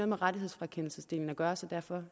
med rettighedsfrakendelsesdelen at gøre så derfor